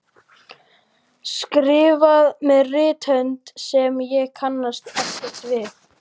Skrifað með rithönd sem ég kannast ekkert við